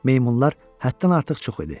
Meymunlar həddən artıq çox idi.